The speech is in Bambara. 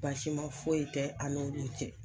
Basima foyi tɛ an n'u cɛ.